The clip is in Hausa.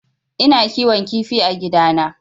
Ina kiwon kifi a gidana